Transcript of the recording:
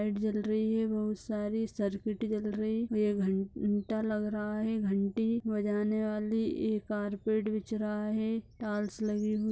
light जल रही हैं बहुत सारी सर्किट जल रही ये घंटा लग रहा है घंटी बजाने वाली एक कारपेट बिछ रहा है टाइल्स लगी हु --